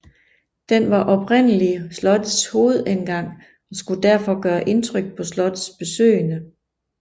Den var oprindelig slottets hovedindgang og skulle derfor gøre indtryk på slottets besøgende